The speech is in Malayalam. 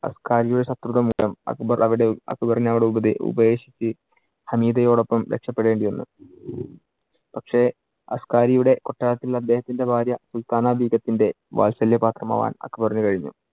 അസ്കരിയോ ശത്രുത മൂലം അക്ബര്‍ അവിടെ~ അക്ബറിനെ അവിടെ ഉപദേ~ ഉപേക്ഷിച്ച് ഹമീദയോടൊപ്പം രക്ഷപ്പെടേണ്ടി വന്നു. പക്ഷെ അസ്‌കാരിയുടെ കൊട്ടാരത്തിൽ അദ്ദേഹത്തിന്‍റെ ഭാര്യ സുൽത്താന ബീഗത്തിന്‍റെ വാത്സല്യ പാത്രമാകാൻ അക്ബറിനു കഴിഞ്ഞു.